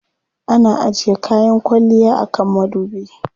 Ana ajiye kayan kwalliya a kan madubi.